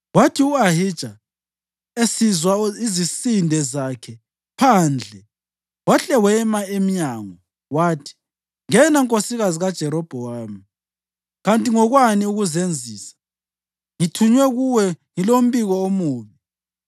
Kwathi u-Ahija esizwa izisinde zakhe phandle wahle wema emnyango, wathi, “Ngena, Nkosikazi kaJerobhowamu, kanti ngokwani ukuzenzisa? Ngithunywe kuwe ngilombiko omubi.